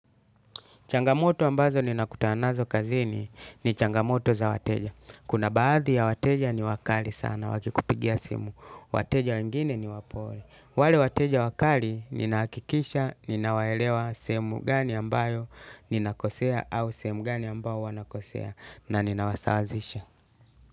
Changamoto ambazo ninakutana nazo kazini ni changamoto za wateja. Kuna baadhi ya wateja ni wakali sana wakikupigia simu. Wateja wengine ni wapore. Wale wateja wakali ninaakikisha, ninawaelewa sehemu gani ambayo ninakosea au sehemu gani ambao wanakosea na ninawasawazisha.